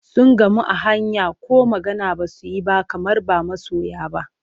Sun gamu a hanya ko magana ba su yi ba kamar ba masoya ba.